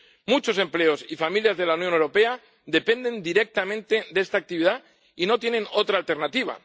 Muchos empleos y familias de la Unión Europea dependen directamente de esta actividad y no tienen otra alternativa.